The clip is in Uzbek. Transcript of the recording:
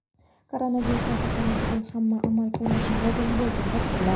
Koronavirusdan saqlanish uchun hamma amal qilishi lozim bo‘lgan tavsiyalar.